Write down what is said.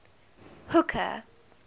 hooker